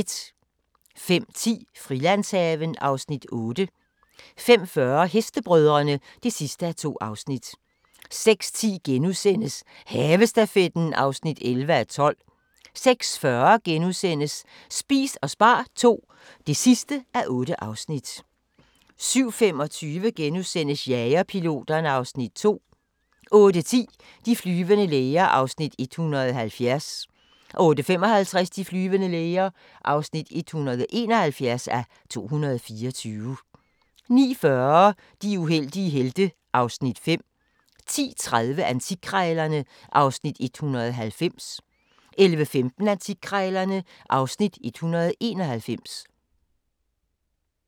05:10: Frilandshaven (Afs. 8) 05:40: Hestebrødrene (2:2) 06:10: Havestafetten (11:12)* 06:40: Spis og spar II (8:8)* 07:25: Jagerpiloterne (Afs. 2)* 08:10: De flyvende læger (170:224) 08:55: De flyvende læger (171:224) 09:40: De uheldige helte (Afs. 5) 10:30: Antikkrejlerne (Afs. 190) 11:15: Antikkrejlerne (Afs. 191)